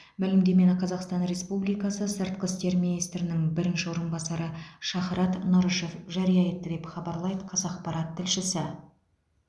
мәлімдемені қазақстан республикасы сыртқы істер министрінің бірінші орынбасары шахрат нұрышев жария етті деп хабарлайды қазақпарат тілшісі